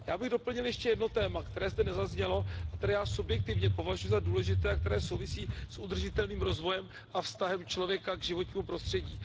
Já bych doplnil ještě jedno téma, které zde nezaznělo a které já subjektivně považuji za důležité a které souvisí s udržitelným rozvojem a vztahem člověka k životnímu prostředí.